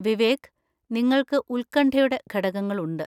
വിവേക്, നിങ്ങൾക്ക് ഉത്കണ്ഠയുടെ ഘടകങ്ങളുണ്ട്.